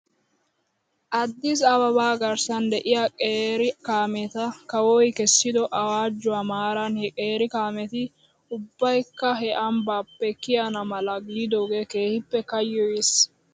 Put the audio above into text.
Addis ababa garssan de'iyaa qeeri kaameeta kawoy kessido awaajjuwaa maaran he qeeri kaameti ubbaykka he ambbaappe kiyana mala giidoogee keehippe kayyoyis.